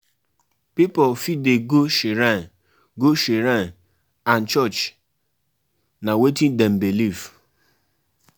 For my village, we dey um perform rituals to appease um di gods wen dem dey vex.